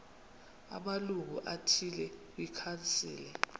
amalungu athile kwikhansile